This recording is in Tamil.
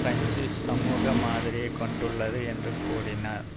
பிரெஞ்சு சமூக மாதிரியைக் கொண்டுள்ளது என்று கூறினார்